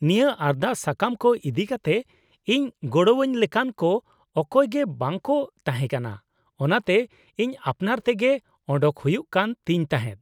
-ᱱᱤᱭᱟᱹ ᱟᱨᱫᱟᱥ ᱥᱟᱠᱟᱢ ᱠᱚ ᱤᱫᱤ ᱠᱟᱛᱮ ᱤᱧ ᱜᱚᱲᱚᱣᱟᱹᱧ ᱞᱮᱠᱟᱱ ᱠᱚ ᱚᱠᱚᱭ ᱜᱮ ᱵᱟᱠᱚ ᱛᱟᱦᱮᱸ ᱠᱟᱱᱟ, ᱚᱱᱟᱛᱮ ᱤᱧ ᱟᱯᱱᱟᱨ ᱛᱮᱜᱮ ᱚᱰᱚᱠ ᱦᱩᱭᱩᱜ ᱠᱟᱱ ᱛᱤᱧ ᱛᱟᱦᱮᱸᱫ ᱾